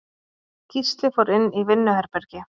Gísli fór inn í vinnuherbergi.